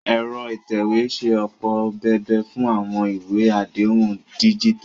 Ẹ̀rọ ìtẹ̀wé ń ṣe ọ̀pọ̀ bébà fún àwọn ìwé àdéhùn díjítà